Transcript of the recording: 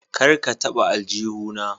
Kar ka taba aljuhu na.